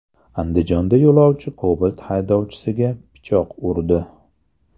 Andijonda yo‘lovchi Cobalt haydovchisiga pichoq urdi.